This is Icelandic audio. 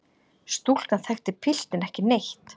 Stúlkan þekkti piltinn ekki neitt.